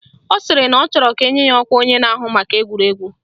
Ọ sịrị na ọ chọrọ ka enye ya ọkwa onye na-ahụ maka egwuregwu